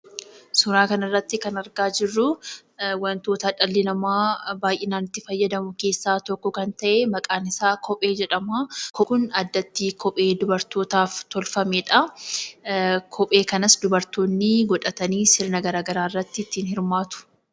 Suuraa kana irratti kan argaa jirruu, waantoota dhalli namaa baayyinaan itti fayyadamu keessaa tokko kan ta'e keessa maqaan isaa kophee jedhamaa. Kopheen Kun addatti dubartootaaf tolfamedhaa. Kophee kanas dubartootni godhatanii sirna garaagaraa irratti ittiin hirmaatu.